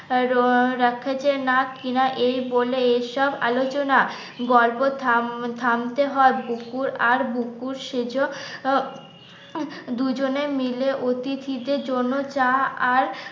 না কিনা এই বলে এইসব আলোচনা গল্প থাম থামতে হয় বুকুর আর বুকুর, সেজো ও দুজনে মিলে অতিথিদের জন্য চা আর